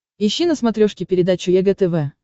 ищи на смотрешке передачу егэ тв